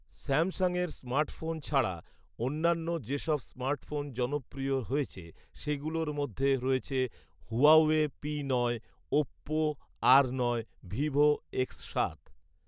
স্যামসাংয়ের স্মার্টফোন ছাড়া অন্যান্য যেসব স্মার্টফোন জনপ্রিয় হয়েছে সেগুলোর মধ্যে রয়েছে ‘হুয়াওয়ে পি নয়’, ‘ওপ্পো আর নয়’, ‘ভিভো এক্স সাত’